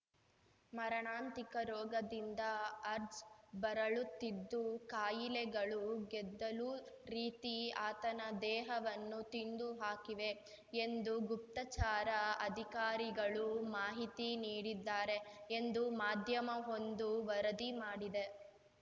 ಮರಣಾಂತಿಕ ರೋಗದಿಂದ ಅಜ್ ಬಳಲುತ್ತಿದ್ದು ಕಾಯಿಲೆಗಳು ಗೆದ್ದಲು ರೀತಿ ಆತನ ದೇಹವನ್ನು ತಿಂದುಹಾಕಿವೆ ಎಂದು ಗುಪ್ತಚಾರ ಅಧಿಕಾರಿಗಳು ಮಾಹಿತಿ ನೀಡಿದ್ದಾರೆ ಎಂದು ಮಾಧ್ಯಮವೊಂದು ವರದಿ ಮಾಡಿದೆ